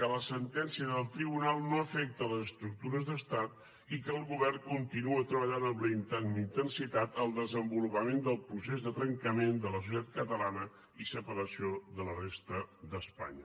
que la sentència del tribunal no afecta les estructures d’estat i que el govern continua treballant amb la intensitat el desenvolupament del procés de trencament de la societat catalana i separació de la resta d’espanya